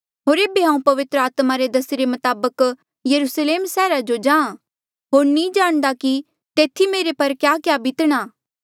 होर एेबे हांऊँ पवित्र आत्मा रे दसीरे मताबक यरुस्लेम सैहरा जो जाहाँ होर नी जाणदा कि तेथी मुंजो पर क्याक्या बीतणा